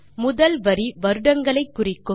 முதல் வரி வருடங்களை குறிக்கும்